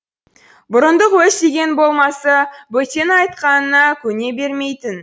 бұрындық өз дегені болмаса бөтеннің айтқанына көне бермейтін